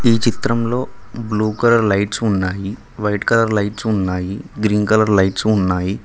ఈ చిత్రంలో blue colour lights ఉన్నాయి వైట్ కలర్ లైట్స్ ఉన్నాయి గ్రీన్ కలర్ లైట్స్ ఉన్నాయి.